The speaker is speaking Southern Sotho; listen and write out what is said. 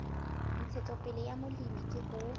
ntshetsopele ya molemi ke ho